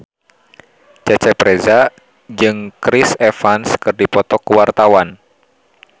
Cecep Reza jeung Chris Evans keur dipoto ku wartawan